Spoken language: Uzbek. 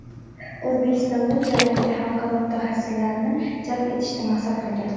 O‘zbekiston bu jarayonga xalqaro mutaxassislarni jalb etishni maqsad qilgan.